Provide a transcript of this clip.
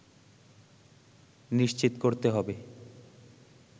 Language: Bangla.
নিশ্চিত করতে হবে